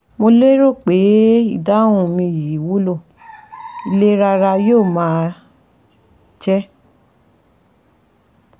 Mo lérò pé ìdáhùn mi yìí wúlò, ìlera ara yóò máa jẹ́